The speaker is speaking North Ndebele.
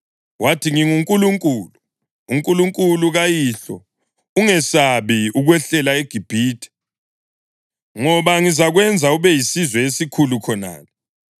Wathi, “NginguNkulunkulu, uNkulunkulu kayihlo. Ungesabi ukwehlela eGibhithe, ngoba ngizakwenza ube yisizwe esikhulu khonale.